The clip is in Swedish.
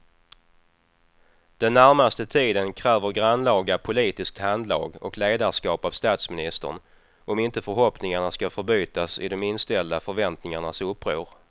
Den närmaste tiden kräver grannlaga politiskt handlag och ledarskap av statsministern om inte förhoppningarna ska förbytas i de inställda förväntningarnas uppror.